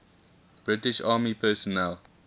british army personnel